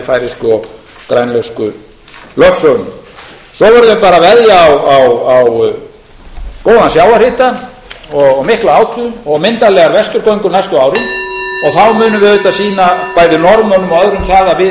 færeysku og grænlensku lögsögunni nú verðum við bara að veðja á góðan sjávarhita og mikla og myndarlega vesturgöngu næstu árin og þá munum við auðvitað sýna